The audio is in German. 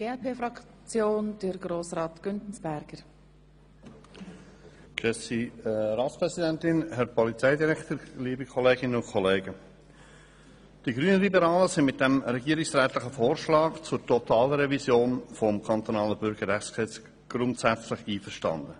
Die Grünliberalen sind mit dem regierungsrätlichen Vorschlag zur Totalrevision des Kantonalen Bürgerrechtsgesetzes grundsätzlich einverstanden.